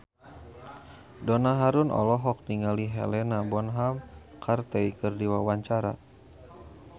Donna Harun olohok ningali Helena Bonham Carter keur diwawancara